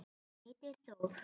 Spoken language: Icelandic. Hann heitir Þór.